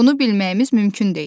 Bunu bilməyimiz mümkün deyil.